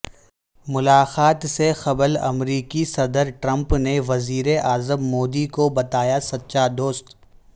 ملاقات سے قبل امریکی صدر ٹرمپ نے وزیر اعظم مودی کو بتایا سچا دوست